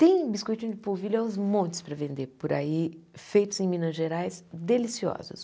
Tem biscoitinho de polvilho aos montes para vender por aí, feitos em Minas Gerais, deliciosos.